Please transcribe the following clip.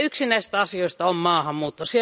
Yksi näistä asioista on maahanmuutto.